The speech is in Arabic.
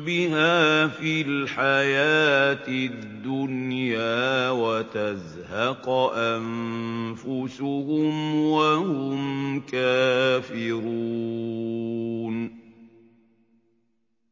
بِهَا فِي الْحَيَاةِ الدُّنْيَا وَتَزْهَقَ أَنفُسُهُمْ وَهُمْ كَافِرُونَ